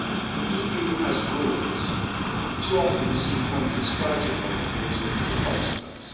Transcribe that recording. The EU has rules and too often we see countries flouting those rules with little consequence.